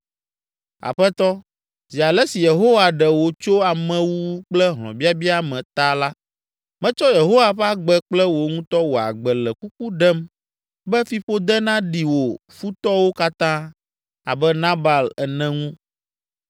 Aƒetɔ, zi ale si Yehowa ɖe wò tso amewuwu kple hlɔ̃biabia me ta la, metsɔ Yehowa ƒe agbe kple wò ŋutɔ wò agbe le kuku ɖem be fiƒode naɖi wò futɔwo katã, abe Nabal ene, ŋu.